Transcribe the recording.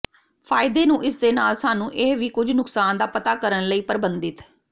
ਫਾਇਦੇ ਨੂੰ ਇਸ ਦੇ ਨਾਲ ਸਾਨੂੰ ਇਹ ਵੀ ਕੁਝ ਨੁਕਸਾਨ ਦਾ ਪਤਾ ਕਰਨ ਲਈ ਪਰਬੰਧਿਤ